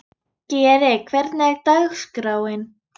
Geri, hvernig er dagskráin?